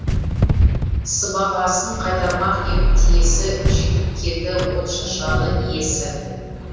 сыбағасын қайтармақ ем тиесі жетіп келді отшашарлы иесі